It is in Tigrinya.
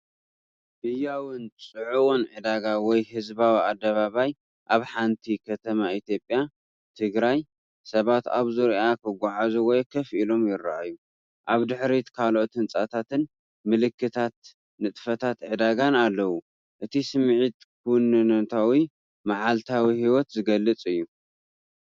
ህያውን ጽዑቕን ዕዳጋ ወይ ህዝባዊ ኣደባባይ ኣብ ሓንቲ ከተማ ኢትዮጵያ/ ትግራይ፣ ሰባት ኣብ ዙርያኣ ክጓዓዙ ወይ ኮፍ ኢሎም ይረኣዩ። ኣብ ድሕሪት ካልኦት ህንጻታትን ምልክታት ንጥፈታት ዕዳጋን ኣለዉ። እቲ ስምዒት ክውንነታዊን መዓልታዊ ህይወት ዝገልጽን እዩ።